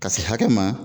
Ka se hakɛ ma